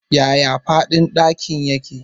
Yaya faɗin ɗakin yake?